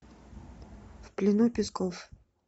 в плену песков